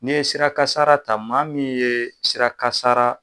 N'i ye sirakasara ta maa min ye sirakasara